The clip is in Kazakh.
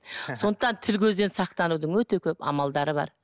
сондықтан тіл көзден сақтанудың өте көп амалдары бар